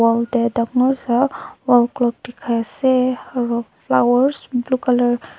hall dae dangor sa wallclock dikai asae aro flowers blue colour .